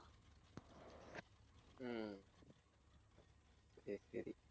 ஹம் சரி சரி